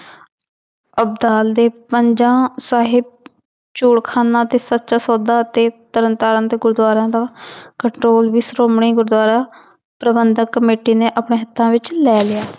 ਅਬਦਾਲ ਦੇ ਪੰਜਾ ਸਾਹਿਬ ਚੋਰਖਾਨਾ ਅਤੇ ਸੱਚਾ ਸੋਦਾ ਅਤੇ ਤਰਨਤਾਰਨ ਦੇ ਗੁਰਦੁਆਰਾਂ ਦਾ control ਵੀ ਸ਼੍ਰੋਮਣੀ ਗੁਰਦੁਆਰਾ ਪ੍ਰਬੰਧਕ ਕਮੇਟੀ ਨੇ ਆਪਣੇ ਹੱਥਾਂ ਵਿੱਚ ਲੈ ਲਿਆ।